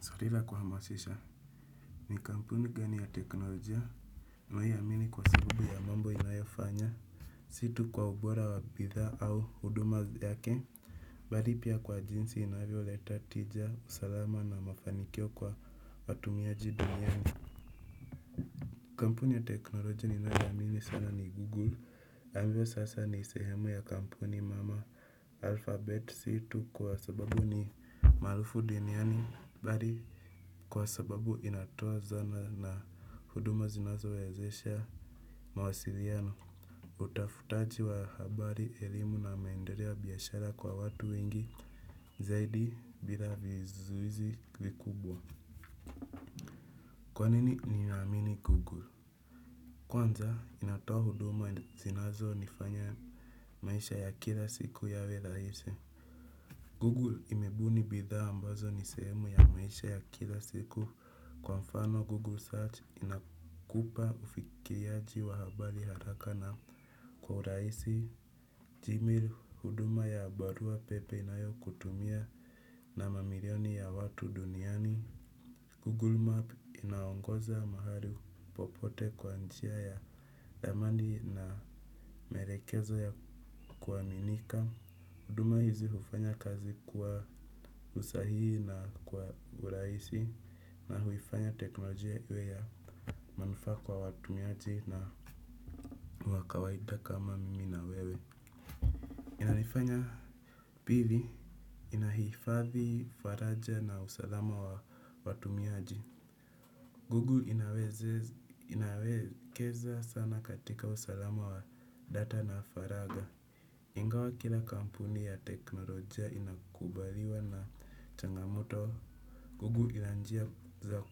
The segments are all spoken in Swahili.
Swali la kuhamasisha. Ni kampuni gani ya teknolojia. Unayoiamini kwa sababu ya mambo inayofanya. Si tu kwa ubora wa bidhaa au huduma yake. Bali pia kwa jinsi inavyoleta tija, usalama na mafanikio kwa watumiaji duniani. Kampuni ya teknolojia ninayoamini sana ni Google ambayo sasa ni sehemu ya kampuni mama alphabet. Si tu kwa sababu ni maarufu duniani bali kwa sababu inatoa zana na huduma zinazowezesha mawasiliano, utafutaji wa habari, elimu na maendeleo ya biashara kwa watu wengi zaidi bila vizuizi vikubwa. Kwa nini ninaamini Google? Kwanza inatoa huduma zinazonifanya maisha ya kila siku yawe rahisi. Google imebuni bidhaa ambazo ni sehemu ya maisha ya kila siku kwa mfano Google Search inakupa ufikiaji wa habari haraka na kwa urahisi. Gmail huduma ya barua pepe inayokutumia na mamilioni ya watu duniani. Google Map inaongoza mahali popote kwa njia ya ramani na maelekezo ya kuaminika. Huduma hizi hufanya kazi kwa usahihi na kwa urahisi na huifanya teknolojia iwe ya manufaa kwa watumiaji na wa kawaida kama mimi na wewe. Inanifanya pili inahifadhi faraja na usalama wa watumiaji. Google inawekeza sana katika usalama wa data na faragha. Ingawa kila kampuni ya teknolojia inakubaliwa na changamoto google ina njia za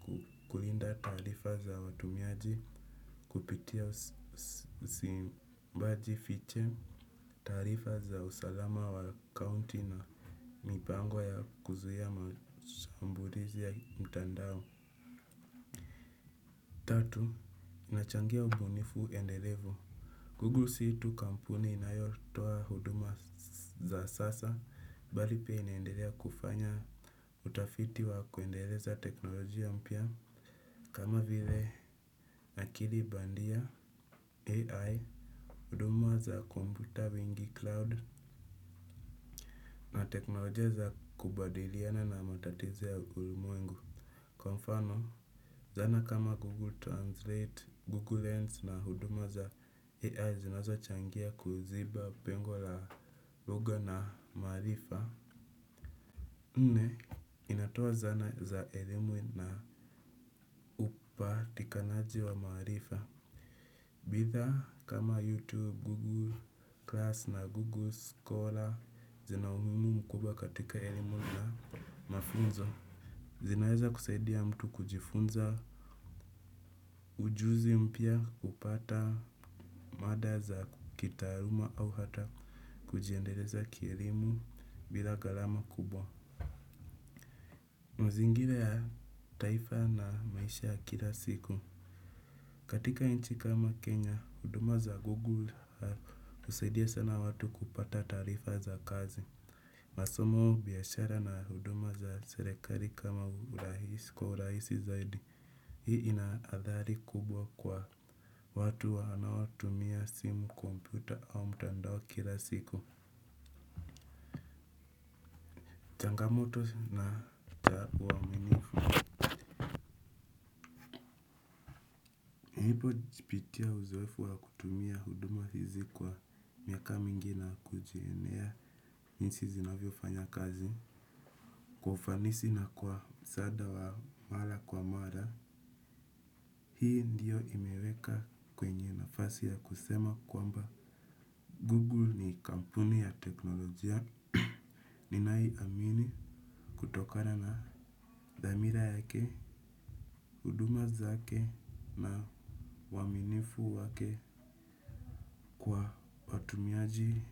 kulinda taarifa za watumiaji kupitia usimbaji fiche, taarifa za usalama wa akaunti na mipango ya kuzuia mashambulizi ya mtandao. Inachangia ubunifu endelevu. Google si tu kampuni inayotoa huduma za sasa, bali pia inaendelea kufanya utafiti wa kuendeleza teknolojia mpya. Kama vile akili bandia AI, huduma za kompyuta wingi cloud, na teknolojia za kubadiliana na matatizo ya ulimwengu. Kwa mfano, zana kama Google Translate, Google Lens na huduma za AI zinazochangia kuziba pengo la lugha na maarifa. Nne, inatoa zana za elimu na upatikanaji wa maarifa. Bidhaa kama YouTube, Google Class na Google Scholar zinaumuhimu mkubwa katika elimu na mafunzo. Zinaweza kusaidia mtu kujifunza ujuzi mpya kupata mada za kitaaluma au hata kujiendeleza kielimu bila gharama kubwa. Mazingira ya taifa na maisha ya kila siku. Katika nchi kama Kenya, huduma za Google husaidia sana watu kupata taarifa za kazi. Masomo biashara na huduma za serikali kwa urahisi zaidi. Hii ina athari kubwa kwa watu wanaotumia simu kompyuta au mtandao kila siku. Changamoto na cha uaminifu. Nilipopitia uzoefu wa kutumia huduma hizi kwa miaka mingi na kujionea jinsi zinavyofanya kazi. Kwa ufanisi na kwa msaada wa mara kwa mara hii ndiyo imeweka kwenye nafasi ya kusema kwamba Google ni kampuni ya teknolojia. Ninaiamini kutokana na dhamira yake, huduma zake na uaminifu wake kwa watumiaji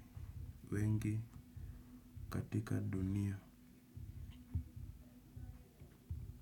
wengi katika dunia.